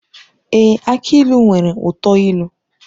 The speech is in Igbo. Èé! Aki ilu nwere uto ilu.